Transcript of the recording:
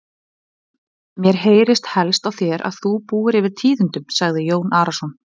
Mér heyrist helst á þér að þú búir yfir tíðindum, sagði Jón Arason.